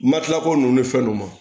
Matilakɔ ninnu ni fɛn ninnu ma